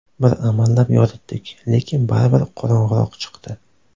Bir amallab yoritdik, lekin baribir qorong‘iroq chiqdi.